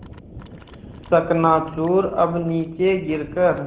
चकनाचूर अब नीचे गिर कर